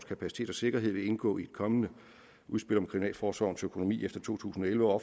kapacitet og sikkerhed vil indgå i et kommende udspil om kriminalforsorgens økonomi efter to tusind og elleve og